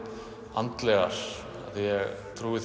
andlegar því ég trúi